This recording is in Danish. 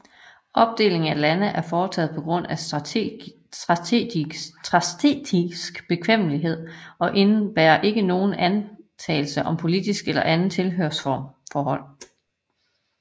Opdelingen af lande er foretaget på grund af statistisk bekvemmelighed og indebærer ikke nogen antagelse om politisk eller anden tilhørsforhold